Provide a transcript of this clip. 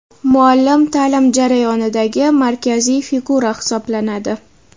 Muallim ta’lim jarayonidagi markaziy figura hisoblanadi.